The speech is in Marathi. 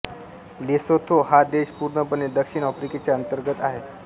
लेसोथो हा देश पुर्णपणे दक्षिण आफ्रिकेच्या अंतर्गत आहे